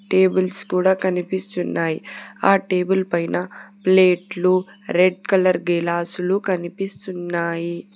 Tables కూడా కనిపిస్తున్నాయి ఆ టేబుల్ పైన ప్లేట్లు రెడ్ కలర్ గెలాసులు కనిపిస్తున్నాయి.